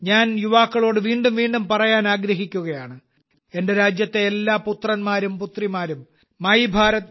ഞാൻ യുവാക്കളോട് വീണ്ടും വീണ്ടും പറയാൻ ആഗ്രഹിക്കുകയാണ് എന്റെ രാജ്യത്തെ എല്ലാ പുത്രന്മാരും പുത്രിമാരും മൈഭാരത്